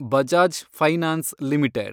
Bajaj finance limited